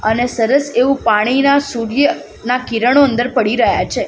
અને સરસ એવુ પાણીના સૂર્યના કિરણો અંદર પડી રહ્યા છે.